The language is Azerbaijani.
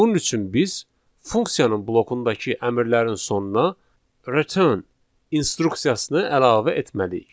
Bunun üçün biz funksiyanın blokundakı əmrlərin sonuna return instruksiyasını əlavə etməliyik.